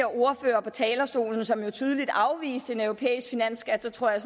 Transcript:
ordfører på talerstolen tidligere som jo tydeligt afviste en europæisk finansskat så tror jeg